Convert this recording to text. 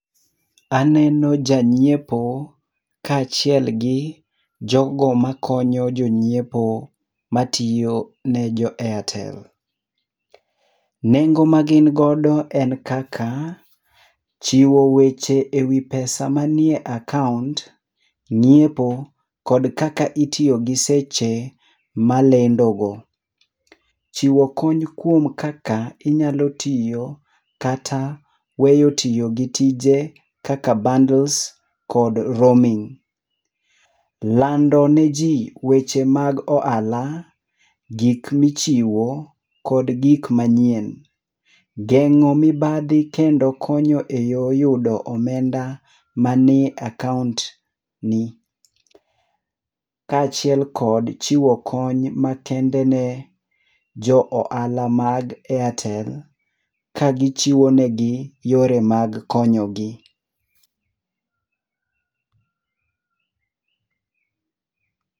Aneno ja nyiepo kaachiel gi jogo makonyo jonyiepo matiyo ne jo airtel. Nengo magin godo en kaka, chiwo weche ewi pesa manie akaont, ng'iepo kod kaka itiyo gi seche malendogo. Chiwo kony kuom kaka inyalo tiyo, kata weyo tiyo gi tije kaka bandles kod roaming. Lando niji weche mag ohala, gik michiwo kod gik manyien. Geng'o mibadhi kendo konyo eyoo yudo omenda manie akaont ni. Kaachiel kod chiwo kony makende ne jo ohala mag airtel ka gichiwo negi yore mag konyogi.